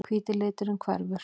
Hvíti liturinn hverfur.